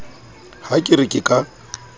ha ke re ke ka